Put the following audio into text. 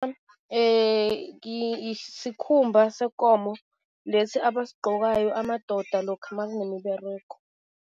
sikhumba sekomo, lesi abasigqokayo amadoda lokha makunemiberego.